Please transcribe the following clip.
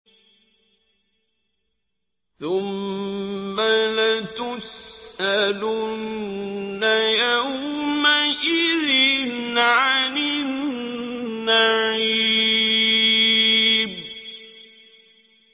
ثُمَّ لَتُسْأَلُنَّ يَوْمَئِذٍ عَنِ النَّعِيمِ